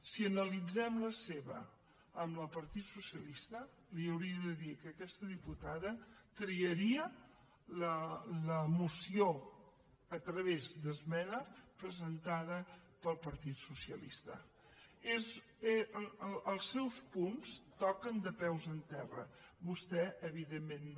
si analitzem la seva amb la del partit socialista li hauria de dir que aquesta diputada triaria la moció a través d’esmena presentada pel partit socialista els seus punts toquen de peus a terra vostè evidentment no